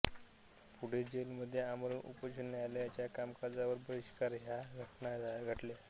पुढे जेलमध्ये आमरण उपोषण न्यायालयाच्या कामकाजावर बहिष्कार ह्या घटना घडल्या